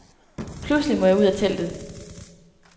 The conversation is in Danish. Pludselig må jeg ud af teltet.